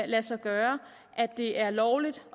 lade sig gøre at det er lovligt